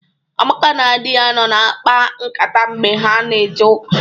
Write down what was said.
Amaka na di ya nọ na-akpa nkata mgbe ha na-eje ụka.